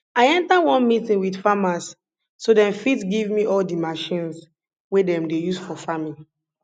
i enta one meeting with farmers so dem fit give me all di machines wey dem dey use for farming